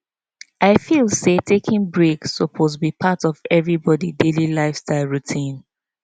i feel say taking breaks suppose be part of everybody daily lifestyle routine